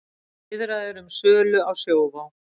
Viðræður um sölu á Sjóvá